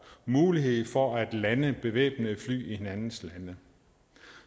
mulighed for at lande bevæbnede fly i hinandens lande